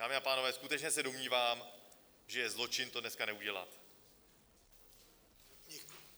Dámy a pánové, skutečně se domnívám, že je zločin to dneska neudělat.